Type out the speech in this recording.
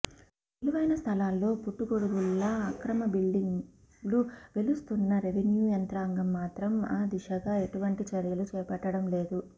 విలువైన స్థలాల్లో పుట్టగొడుగుల్లా అక్రమ బిల్డింగ్లు వెలుస్తున్నా రెవెన్యు యంత్రాంగం మాత్రం ఆ దిశగా ఎటువంటి చర్యలు చేపట్టడం లేదు